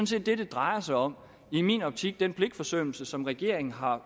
set det det drejer sig om i min optik nemlig den pligtforsømmelse som regeringen har